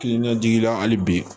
Kilinikila hali bi